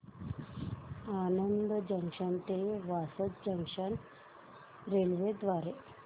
Anand junction ते Vasad junction railway द्वारे